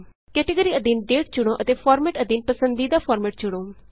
category ਅਧੀਨ ਦਾਤੇ ਚੁਣੋ ਅਤੇ ਫਾਰਮੈਟ ਅਧੀਨ ਪਸੰਦੀਦਾ ਫਾਰਮੈਟ ਚੁਣੋ